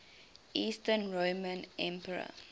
eastern roman emperor